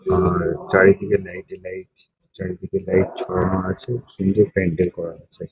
আর চারিদিকে লাইট -ই লাইট চারিদিকে লাইট ঝোলানো আছে। সুন্দর প্যান্ডেল করা আছে ।